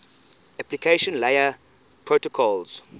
application layer protocols